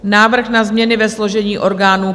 Návrh na změny ve složení orgánů